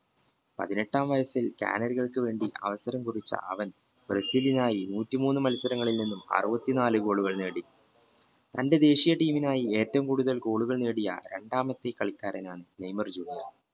പതിനെട്ടാം ചാനലുകൾക്ക് വേണ്ടി അവസരം കുറിച്ച് അവൻ ബ്രസീലിനായി നൂറ്റിമൂന് മത്സരങ്ങളിൽ നിന്നും അറുപത്തിനാല് ഗോളുകൾ നേടി തന്റെ team നായി ഏറ്റവും കൂടുതൽ ഗോളുകൾ നേടിയ രണ്ടാമത്തെ കളിക്കാരനാണ് നെയ്മർ junior